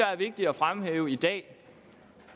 er vigtigt at fremhæve i dag